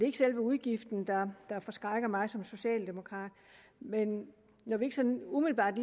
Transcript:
ikke selve udgiften der forskrækker mig som socialdemokrat men når vi ikke sådan umiddelbart